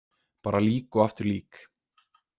Bara lík og aftur lík.